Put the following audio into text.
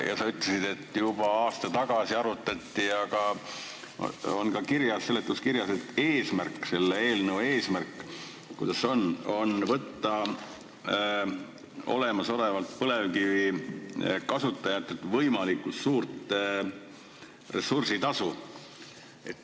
Ja sa ütlesid, et juba aasta tagasi arutati – see on ka seletuskirjas –, et selle eelnõu eesmärk on võtta olemasolevatelt põlevkivi kasutajatelt võimalikult suurt ressursitasu.